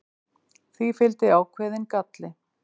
því fylgdi ákveðinn galli